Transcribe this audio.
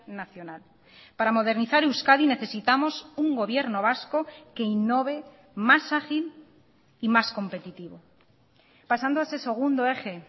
nacional para modernizar euskadi necesitamos un gobierno vasco que innove más ágil y más competitivo pasando ese segundo eje